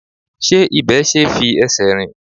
Ṣé ibẹ̀ ṣe é fi ẹsẹ̀ rìn?